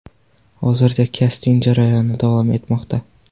Hozirda kasting jarayoni davom etmoqda.